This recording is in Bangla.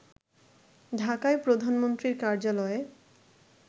ঢাকায় প্রধানমন্ত্রীর কার্যালয়ে